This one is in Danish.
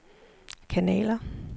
kanaler